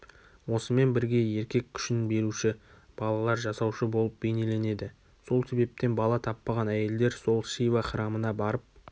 осымен бірге еркек күшін беруші балалар жасаушы болып бейнеленеді сол себептен бала таппаған әйелдер сол шива храмына барып